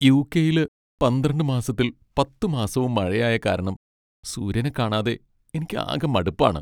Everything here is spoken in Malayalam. യു.കെ.യില് പന്ത്രണ്ട് മാസത്തിൽ പത്ത് മാസവും മഴയായ കാരണം സൂര്യനെ കാണാതെ എനിക്കാകെ മടുപ്പാണ്.